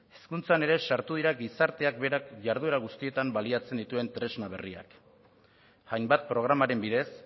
hezkuntzan ere sartu dira gizarteak berak jarduera guztietan baliatzen dituen tresna berriak hainbat programaren bidez